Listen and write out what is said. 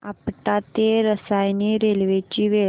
आपटा ते रसायनी रेल्वे ची वेळ